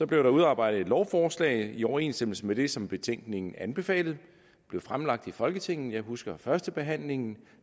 blev der udarbejdet et lovforslag i overensstemmelse med det som betænkningen anbefalede det blev fremlagt i folketinget jeg husker førstebehandlingen